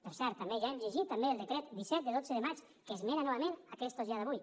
per cert ja hem llegit també el decret disset de dotze de maig que esmena novament aquestos ja d’avui